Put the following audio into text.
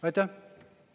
Aitäh!